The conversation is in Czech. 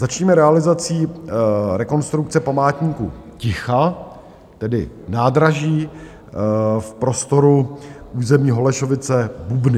Začneme realizací rekonstrukce Památníku ticha, tedy nádraží v prostoru území Holešovice-Bubny.